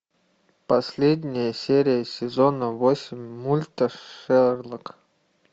последняя серия сезона восемь мульта шерлок